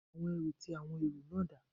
Àwọn ẹrú ti àwọn èrò náà dà?